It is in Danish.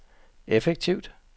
effektivt